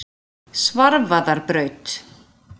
Svarfaðarbraut